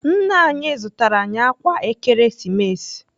Nna anyị zụtara anyị ákwà Ekeresimesi.